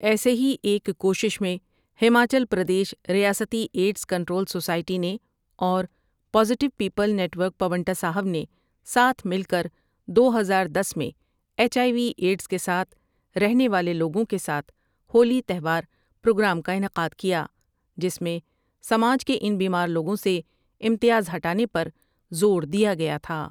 ایسے ہی ایک کوشش میں ہماچل پردیش ریاستی ایڈز کنٹرول سوسائٹی نے اور positive people network Paonta Sahib نے ساتھ مل کر دو ہزار دس میں ایچ آئی وی ایڈز کے ساتھ رہنے والے لوگوں کے ساتھ ہولی تہوار پروگرام کا انعقاد کیا جس میں سماج کے ان بیمار لوگوں سے امتیاز ہٹانے پر زور دیا گیا تھا ۔